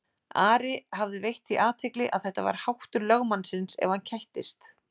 Ari hafði veitt því athygli að þetta var háttur lögmannsins ef hann kættist.